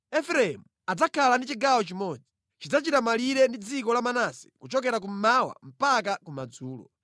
“Efereimu adzakhala ndi chigawo chimodzi. Chidzachita malire ndi dziko la Manase kuchokera kummawa mpaka kumadzulo.